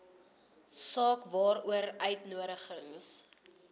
saak waaroor uitnodigings